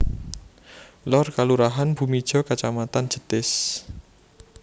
Lor Kalurahan Bumijo Kacamatan Jetis